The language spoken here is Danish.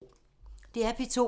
DR P2